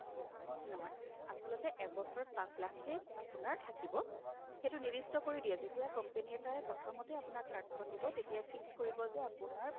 নহয়, আচলতে এবছৰতে পাচ লাখহে আপোনাৰ থাকিব সেইটো নিৰ্দিষ্ট কৰি দিয়ে যেতিয়াই company এটাই প্ৰথমতে card খন দিব তেতিয়াই fix কৰিব যে আপোনাৰ